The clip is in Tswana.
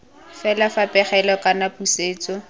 fela fa pegelo kana pusetso